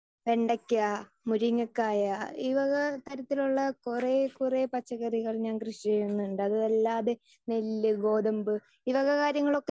speaker 2 വെണ്ടക്ക മുരിങ്ങക്കായ ഈ വക തരത്തിൽ ഉള്ള കൊറേ കൊറേ പച്ചക്കറികൾ ഞാൻ കൃഷി ചെയ്യുന്നുണ്ട് അതല്ലാതെ നെല്ല് ഗോതമ്പ് ഈ വക കാര്യങ്ങളൊക്കെ